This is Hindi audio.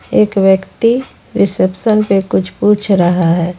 एक व्यक्ति रिसेप्शन पे कुछ पूछ रहा है।